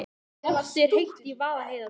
Loftið er heitt í Vaðlaheiðargöngum.